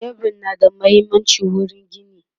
shebur na da muhimmanci wurin gini